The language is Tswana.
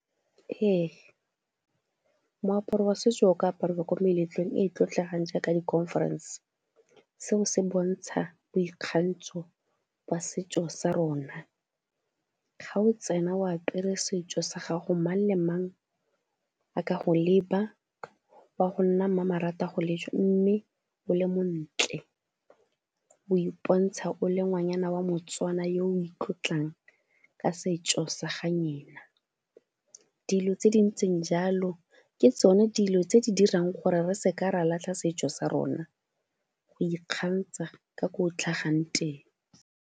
Ee moaparo wa setso o ka apariwa ko meletlong e e tlotlegang jaaka di-conference, seo se bontsha boikgantsho jwa setso sa rona. Ga o tsena o apere setso sa gago, mang le mang a ka go leba o a go nna mmamoratwa go lejwa, mme o le montle o ipontsha o le ngwanyana wa Motswana yo o itlotlang ka setso sa ga . Dilo tse di ntseng jalo ke tsone dilo tse di dirang gore re se ka ra latlha setso sa rona, go ikgantsha ka ko o tlhagang teng